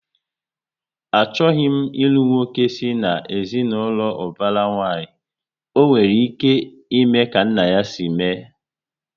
Achọghị m ilu nwoke si na ezinaụlọ ubara nwanyi, ọ nwere ike ime ka nna ya si mee